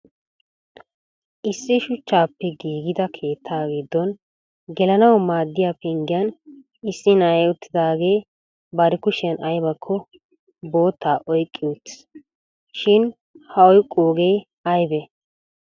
issi shuchchape giiggida keetta giddo gelanaw maaddiyaa penggiyaan issi na'ay uttidaagee bari kushiyaan aybbakko bootta oyqqi uttiis. sin ha oyqqooge aybbe?